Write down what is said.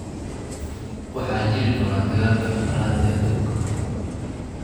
waxaa jiri doona dagaalkii afaraad ee aduunka